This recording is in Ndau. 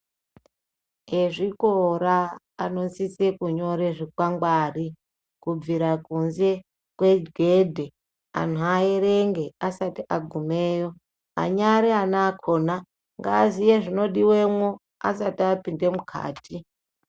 Ezvikora anosise kunyore zvikwangwari kubvira kunze kwegedhe anhu aerenge asati agumeyo anyari ana akona ngaaziye zvinodiwemwo asati apinde mukati.